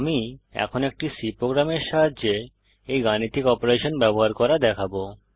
আমি এখন একটি C প্রোগ্রামের সাহায্যে এই গাণিতিক অপারেশন ব্যবহার করা দেখাবো